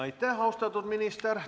Aitäh, austatud minister!